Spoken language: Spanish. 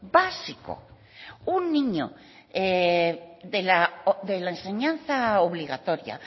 básico un niño de la enseñanza obligatoria